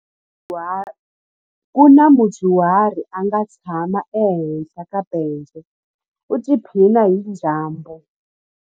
Ku na mudyuhari a nga tshama ehenhla ka bence u tiphina hi dyambu.